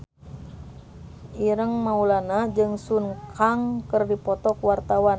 Ireng Maulana jeung Sun Kang keur dipoto ku wartawan